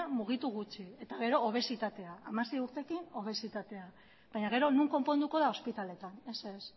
mugitu gutxi eta gero obesitatea hamasei urterekin obesitatea baina gero non konponduko da ospitaletan ez ez